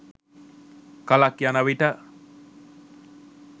කලක් යන විට